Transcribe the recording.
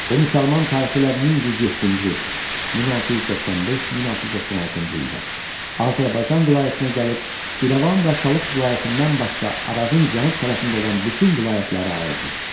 O müsəlman tarixi ilə 1107-ci, 1695-1696-cı ildə Azərbaycan vilayətinə gəlib İrəvan və Talış vilayətindən başqa Arazın cənub tərəfində olan bütün vilayətləri aldı.